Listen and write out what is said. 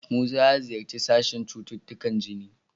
Musa ya ziyarci sashen cututtukan jini.